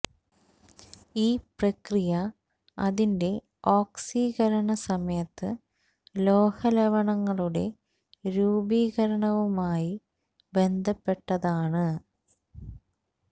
ഈ പ്രക്രിയ അതിന്റെ ഓക്സീകരണ സമയത്ത് ലോഹ ലവണങ്ങളുടെ രൂപീകരണവുമായി ബന്ധപ്പെട്ടതാണ്